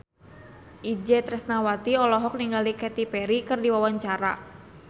Itje Tresnawati olohok ningali Katy Perry keur diwawancara